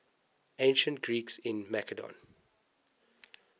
ancient greeks in macedon